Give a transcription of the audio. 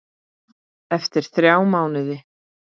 Eftir þrjá mánuði?